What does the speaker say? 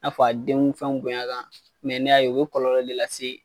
A fɔ a denw fɛn bonyana ne y'a ye o bɛ kɔlɔlɔ de lase